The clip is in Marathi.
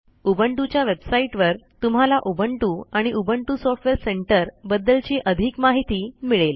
उबुंटू च्या वेबसाईटवर तुम्हाला उबुंटू आणि उबुंटू सॉफ्टवेअर सेंटर बद्दलची अधिक माहिती मिळेल